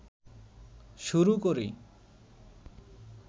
শুরু করি